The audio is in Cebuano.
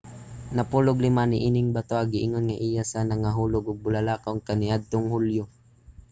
napulog-lima niining batoha giingon nga iya sa nangahulog nga bulalakaw kaniadtong hulyo